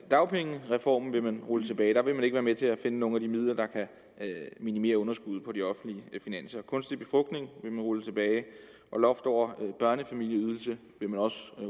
dagpengereformen vil man altså rulle tilbage der vil man ikke være med til at finde nogle af de midler der kan minimere underskuddet på de offentlige finanser kunstig befrugtning vil man rulle tilbage og loft over børnefamilieydelsen vil man også